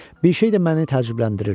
Bir şey də məni təəccübləndirirdi.